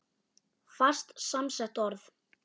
Fast samsett orð